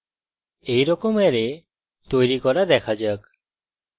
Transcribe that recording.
এইরকম অ্যারে তৈরী করা দেখা যাক